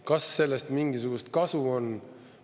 Kas sellest mingisugust kasu on?